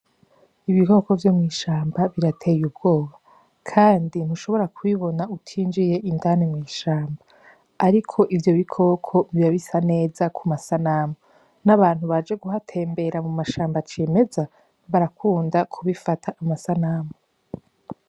Ibikoko vyo mw'ishamba birateye ubwoba, kandi ntushobora kubibona utinjiye indane mw'ishamba, ariko ivyo bikoko bibabisa neza ku masanamu n'abantu baje guhatembera mu mashambo acemeza barakunda kubifata amasanamu.